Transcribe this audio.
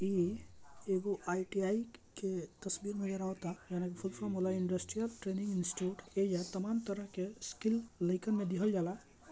ई एगो आई.टी.आई. के तस्वीर नज़र आवता जवना के फूल फोरम होला इंडस्ट्रियल ट्रैनिंग इंस्टिट्यूट । ऐजा तमाम तरह के स्कील लइकन मे दीहल जाला ।